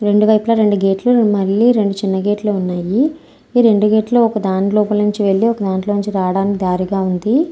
రెండు వైపులా రెండు గేట్ లు రెండు చిన్న గేట్ లు ఉన్నాయి ఈ రెండు గేట్ లో ఒక దాని వైపు నుండి వెళ్లి ఒక ధాన్ట్లోంచి రాడానికి దారి ల ఉంది.